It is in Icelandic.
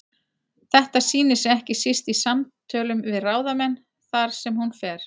Þetta sýnir sig ekki síst í samtölum við ráðamenn þar sem hún fer.